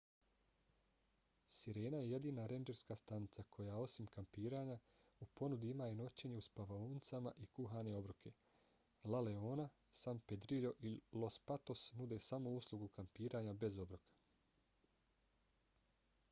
sirena je jedina rendžerska stanica koja osim kampiranja u ponudi ima i noćenje u spavaonicama i kuhane obroke. la leona san pedrillo i los patos nude samo uslugu kampiranja bez obroka